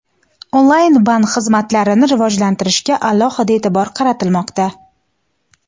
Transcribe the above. onlayn bank xizmatlarini rivojlantirishga alohida e’tibor qaratilmoqda.